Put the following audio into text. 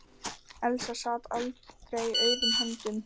Elsa sat aldrei auðum höndum.